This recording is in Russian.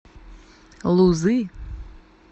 лузы